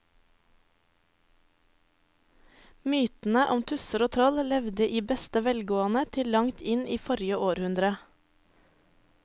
Mytene om tusser og troll levde i beste velgående til langt inn i forrige århundre.